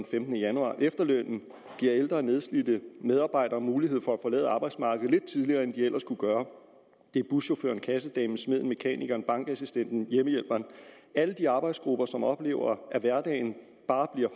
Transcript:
femtende januar efterlønnen giver ældre nedslidte medarbejdere mulighed for at forlade arbejdsmarkedet lidt tidligere end de ellers kunne gøre det er buschaufføren kassedamen smeden mekanikeren bankassistenten hjemmehjælperen alle de arbejdsgrupper som oplever at hverdagen bare bliver